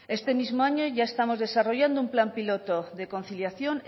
este mismo año ya estamos desarrollando un plan piloto de conciliación